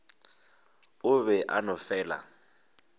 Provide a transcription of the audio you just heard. o be a no fela